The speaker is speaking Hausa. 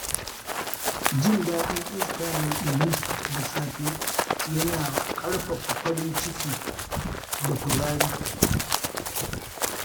Jin daɗin iska mai ɗumi da safe yana ƙarfafa farin ciki da kuzari.